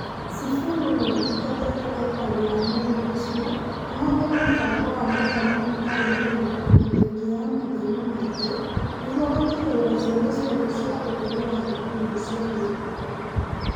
Sifuna niathingatite aikari a mwena ucio mahuthire mubango wa mathomo matari marihi ona thengia ya mathina mangi niguo gutigirira ciana ciothe cia ukuru wa thukuru ni ciathii thukuru.